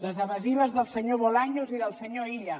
les evasives del senyor bolaños i del senyor illa